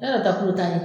Yala ta kulu ta